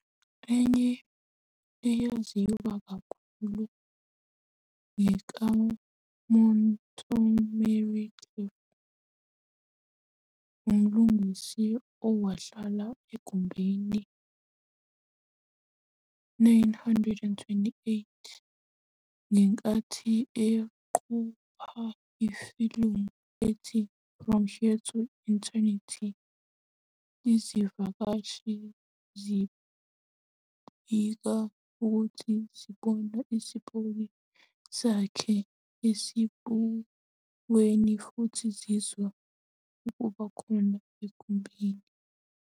Enye eyaziwa kakhulu ngekaMontgomery Clift, umlingisi owahlala egumbini 928 ngenkathi eqopha ifilimu ethi "From Here to Eternity." Izivakashi zibike ukuthi zibona isipoki sakhe esibukweni futhi zizwa ukuba khona egumbini.